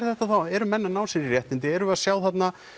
þetta eru menn að ná sér í réttindi erum við að sjá þarna